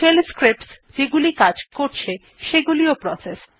shell scripts যেগুলি কাজ করছে সেগুলিও প্রসেস